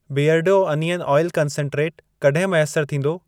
बीयरडो onion oil concentrate, कॾहिं मैसर थींदो?